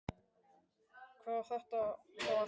Hvað á þetta þá að þýða?